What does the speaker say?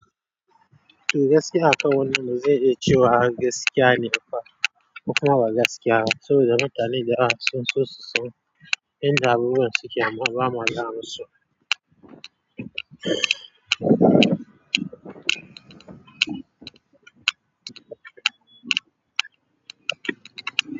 Gaskiya aka wannan mu zai yi cewa gaskiya ne fa kuma ba gaskiya. Saboda mutane da yawa sun so su san yanda abubuwan suke amman bamu gaya masu.